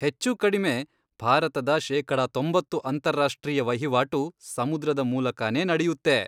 ಹೆಚ್ಚುಕಡಿಮೆ ಭಾರತದ ಶೇಕಡ ತೊಂಬತ್ತು ಅಂತಾರಾಷ್ಟ್ರೀಯ ವಹಿವಾಟು ಸಮುದ್ರದ ಮೂಲಕನೇ ನಡೆಯುತ್ತೆ.